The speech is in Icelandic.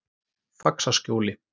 Faxaskjóli